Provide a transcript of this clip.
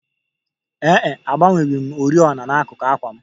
Ee e, agbanweghị m oriọna n'akuku àkwà m